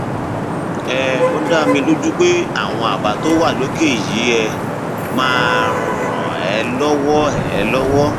um ó dá mi lójú pé àwọn àbá tó wà lókè yìí um máa ràn um ẹ lọwọ ẹ lọwọ